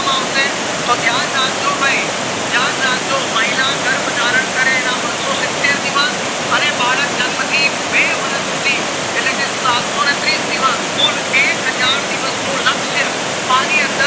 એ ધ્યાન રાખજો ભય ધ્યાન રાખજો મહિલા ગર્ભધારણ કરે એના બસ્સો સિત્તેર દિવસ અને બાળક જન્મ થી બે વર્ષ સુધી એટલે કે સત્સોને તરસી દીવસ કુલ એક હજાર દિવસ નું લક્ષ્ય અણી અંદર